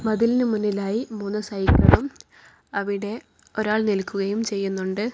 മതിലിനു മുന്നിലായി മൂന്ന് സൈക്കിളും അവിടെ ഒരാൾ നിൽക്കുകയും ചെയ്യുന്നുണ്ട്.